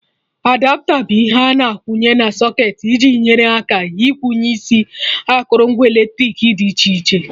Adapta bụ ihe a na-akwụnye na socketị iji nyere aka ikwụnye isi akụrụngwa eletrik dị iche iche